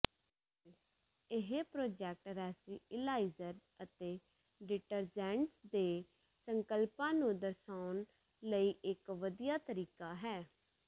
ਇਹ ਪ੍ਰੋਜੈਕਟ ਰੈਸੀਲੀਅਲਾਈਜ਼ਰ ਅਤੇ ਡਿਟਰਜੈਂਟਸ ਦੇ ਸੰਕਲਪਾਂ ਨੂੰ ਦਰਸਾਉਣ ਲਈ ਇਕ ਵਧੀਆ ਤਰੀਕਾ ਹੈ